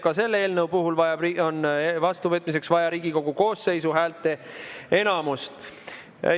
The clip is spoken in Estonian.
Ka selle eelnõu vastuvõtmiseks on vaja Riigikogu koosseisu häälteenamust.